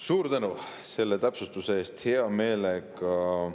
Suur tänu selle täpsustuse eest!